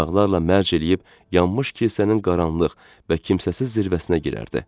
Uşaqlarla mərc eləyib yanmış kilsənin qaranlıq və kimsəsiz zirvəsinə girərdi.